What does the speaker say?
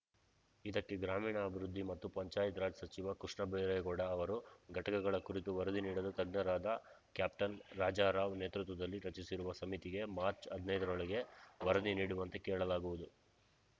ಇದಕ್ಕೆ ಗ್ರಾಮೀಣಾಭಿವೃದ್ಧಿ ಮತ್ತು ಪಂಚಾಯತ್‌ ರಾಜ್‌ ಸಚಿವ ಕೃಷ್ಣಬೈರೇಗೌಡ ಅವರು ಘಟಕಗಳ ಕುರಿತು ವರದಿ ನೀಡಲು ತಜ್ಞರಾದ ಕ್ಯಾಪ್ಟನ್‌ ರಾಜಾರಾವ್‌ ನೇತೃತ್ವದಲ್ಲಿ ರಚಿಸಿರುವ ಸಮಿತಿಗೆ ಮಾರ್ಚ್ ಹದಿನೈದರೊಳಗೆ ವರದಿ ನೀಡುವಂತೆ ಕೇಳಲಾಗುವುದು